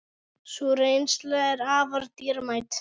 Sú reynsla er afar dýrmæt.